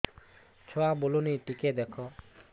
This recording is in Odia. ଛୁଆ ବୁଲୁନି ଟିକେ ଦେଖ